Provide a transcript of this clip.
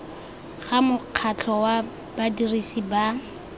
ga mokgatlho wa badirisi ba